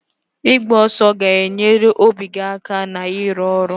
Ịgba ọsọ ga-enyere obi aka na-ịrụ ọrụ